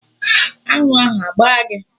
Aṅụ ahụ agbaa gị?